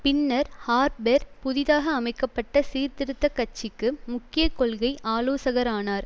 பின்னர் ஹார்ப்பெர் புதிதாக அமைக்க பட்ட சீர்திருத்த கட்சிக்கு முக்கிய கொள்கை ஆலோசகரானார்